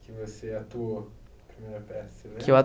Que você atuou na primeira peça. Que eu